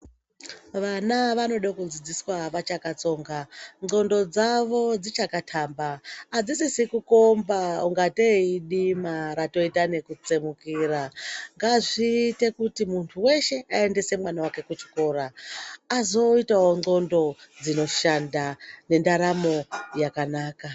Vana vanode kudzidziswa vachakatsonga, ndxondo dzavo dzichakatamba adzisizi kukomba kuitangateyi idima ratoite nekutsemukira. Ngazviite kuti muntu wese aendese mwana wake kuchikoro, azoitawo ndxondo dzinoshanda nendaramo yakanaka.